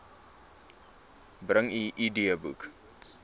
bring u idboek